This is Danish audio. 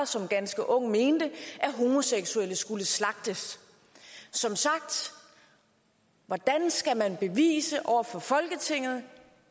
som ganske ung mente at homoseksuelle skulle slagtes så hvordan skal man bevise det over for folketinget